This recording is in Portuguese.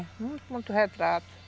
É. Muito, muito retrato.